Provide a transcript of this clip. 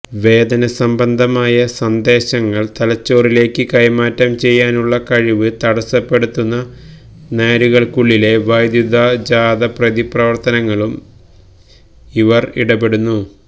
വേദനസംബന്ധമായ സന്ദേശങ്ങൾ തലച്ചോറിലേക്ക് കൈമാറ്റം ചെയ്യാനുള്ള കഴിവ് തടസ്സപ്പെടുത്തുന്ന നാരുകൾക്കുള്ളിലെ വൈദ്യുതജാത പ്രതിപ്രവർത്തനങ്ങളും അവർ ഇടപെടുന്നു